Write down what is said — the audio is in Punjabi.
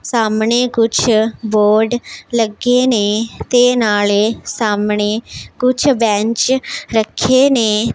ਸਾਹਮਣੇ ਕੁਝ ਬੋਰਡ ਲੱਗੇ ਨੇ ਤੇ ਨਾਲੇ ਸਾਹਮਣੇ ਕੁਝ ਬੈਂਚ ਰੱਖੇ ਨੇ।